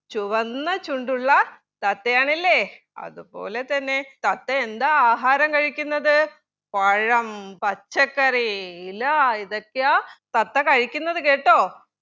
ചുവന്ന ചുണ്ടുള്ള തത്തയാണെല്ലെ അത് പോലെ തന്നെ തത്തയെന്താ ആഹാരം കഴിക്കുന്നത് പഴം പച്ചക്കറി ഇല ഇതൊക്കെയാ തത്ത കഴിക്കുന്നത് കേട്ടോ